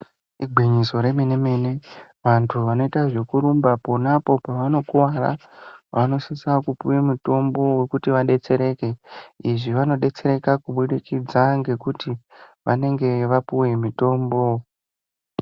Igwinyiso remene mene vantu vanoita zvekurumba ponapo pavanokuvara vanosisa kupuwa mutombo wekuti vadetsereke izvi vanodetsereka kubudikidza ngekuti vanenge vapuw mitombo.